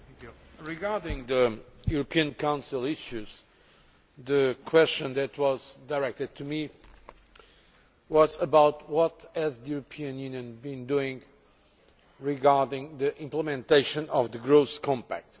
Mr President, regarding the European Council issues, the question that was directed to me was about what the European Union has been doing regarding the implementation of the growth compact.